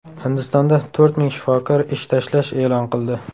Hindistonda to‘rt ming shifokor ish tashlash e’lon qildi.